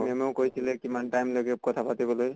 ma'am য়েও কৈছিলে কিমান time লাগে কথা পাতিবলৈ